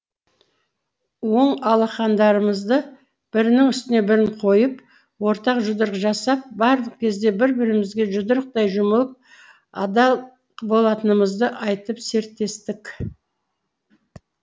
оң алақандарымызды бірінің үстіне бірін қойып ортақ жұдырық жасап барлық кезде бір бірімізге жұдырықтай жұмылып адал болатынымызды айтып серттестік